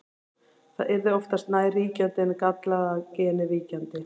Það yrði oftast nær ríkjandi en gallaða genið víkjandi.